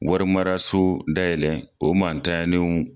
Wari mararaso dayɛlɛ o mantanyalenw